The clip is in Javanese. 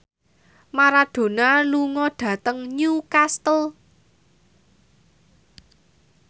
Maradona lunga dhateng Newcastle